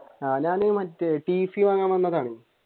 ആഹ് ഞാൻ മറ്റേ tc വാങ്ങാൻ വന്നതാണ്